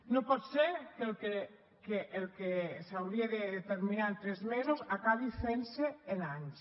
no pot ser que el que s’hauria de determinar en tres mesos acabi fent se en anys